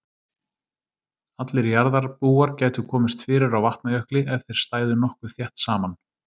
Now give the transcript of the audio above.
Allir jarðarbúar gætu komist fyrir á Vatnajökli ef þeir stæðu nokkuð þétt saman.